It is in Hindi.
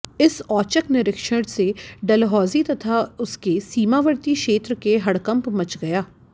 इस औचक निरीक्षण से डलहौजी तथा उसके सीमावर्ती क्षेत्र के हड़कंप मच गया